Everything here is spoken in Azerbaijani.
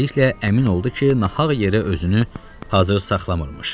Tezliklə əmin oldu ki, nahaq yerə özünü hazır saxlamırmış.